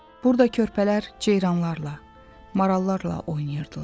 Burda körpələr ceyranlarla, marallarla oynayırdılar.